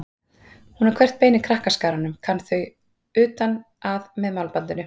Hún á hvert bein í krakkaskaranum, kann þau utan að með málbandinu.